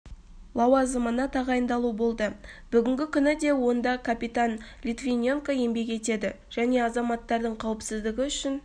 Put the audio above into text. лауазымына тағайындалу болды бүгінгі күні де онда капитан литвиненко еңбек етеді және азаматтардың қауіпсіздігі үшін